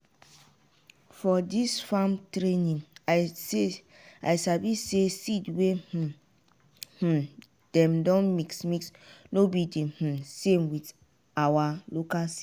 for dis farm training i say i sabi say seed wey um um dem don mix-mix no be di um same wit awa local seed.